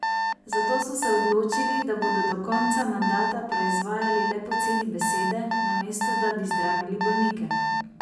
Zato so se odločili, da bodo do konca mandata proizvajali le poceni besede, namesto da bi zdravili bolnike.